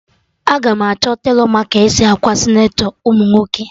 Aga m achọ telọ ma ka esi akwa senatọ ụmụ nwoke